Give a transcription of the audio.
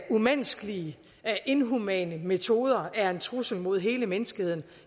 umenneskelige inhumane metoder er en trussel mod hele menneskeheden